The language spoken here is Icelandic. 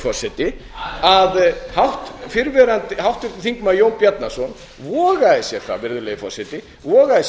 forseti að háttvirtur þingmaður jón bjarnason vogaði sér það virðulegi forseti vogaði sér